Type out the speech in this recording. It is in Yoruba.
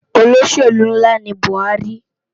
Ólóṣélú nlá ni Buari